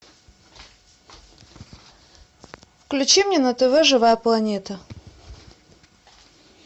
включи мне на тв живая планета